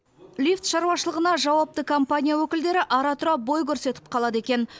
лифт шаруашылығына жауапты компания өкілдері ара тұра бой көрсетіп қалады екен